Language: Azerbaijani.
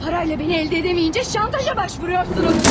Pulla məni əldə edə bilməyincə şantaja əl atırsınız.